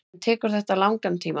En tekur þetta langan tíma.